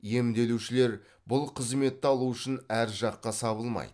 емделушілер бұл қызметті алу үшін әр жаққа сабылмайды